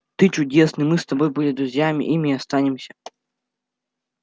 ты чудесный мы с тобой были друзьями ими и останемся